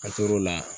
A tor'o la